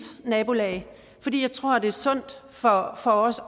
nabolag fordi jeg tror at det er sundt for os